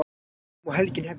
Nú má helgin hefjast!